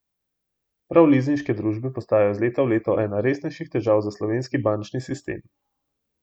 Prav lizinške družbe postajajo iz leta v leto ena resnejših težav za slovenski bančni sistem.